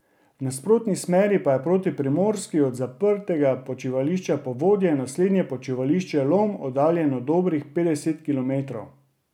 V nasprotni smeri pa je proti Primorski od zaprtega počivališča Povodje naslednje počivališče Lom oddaljeno dobrih petdeset kilometrov.